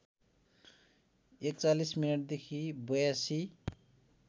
४१ मिनेटदेखि ८२